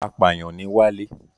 Apàyàn ni Wálé.